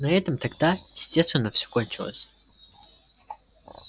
на этом тогда естественно всё кончилось